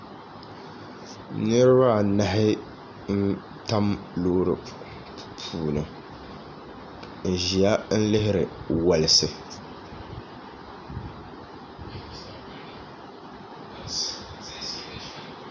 Niriba anahi n-tam loori puuni n-ʒiya n-lihiri wolisi